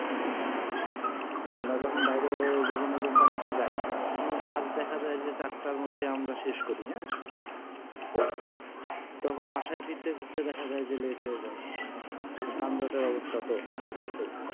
আমরা যখন বাইরে বিভিন্ন company তে যাই তখন কাজ দেখা যায় যে আমরা চারটার মধ্যে আমরা শেষ করি হ্যাঁ তখন বাসায় ফিরতে ফিরতে দেখা যায় যে let হয়ে যায় যানজট এর অবস্তাতো আছেই